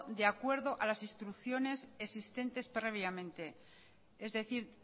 de acuerdo a las instrucciones existentes previamente es decir